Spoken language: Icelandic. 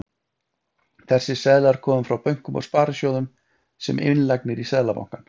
Þessir seðlar koma frá bönkum og sparisjóðum sem innlagnir í Seðlabankann.